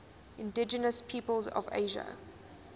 indigenous peoples of asia